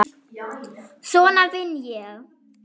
Svona vinn ég.